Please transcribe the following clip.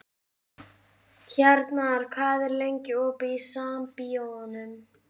Hjarnar, hvað er lengi opið í Sambíóunum?